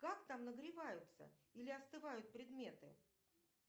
как там нагреваются или остывают предметы